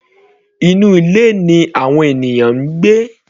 Inú ilé ni àwọn ènìyàn ń gbé.